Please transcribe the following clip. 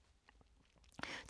TV 2